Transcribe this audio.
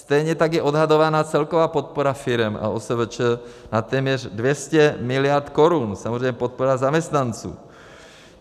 Stejně tak je odhadovaná celková podpora firem a OSVČ na téměř 200 miliard korun, samozřejmě podpora zaměstnanců.